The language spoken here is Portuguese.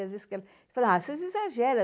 Às vezes fala, ah, vocês exageram.